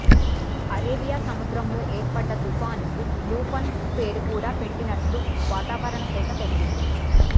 Arabia సముద్రంలో ఏర్పడ్డ తుఫాన్ కు లూఫన్ పేరు కూడా పెట్టినట్లు వాతావరణ శాఖ తెలిపింది